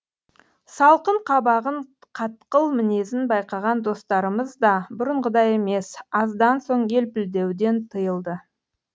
салқын қабағын қатқыл мінезін байқаған достарымыз да бұрынғыдай емес аздан соң елпілдеуден тыйылды